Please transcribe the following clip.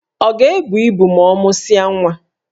Ọ ga-ebu ibu ma ọ mụsịa nwa?